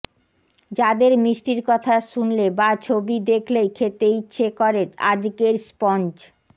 যাদের মিষ্টির কথা শুনলে বা ছবি দেখলেই খেতে ইচ্ছে করে আজকের স্পঞ্জ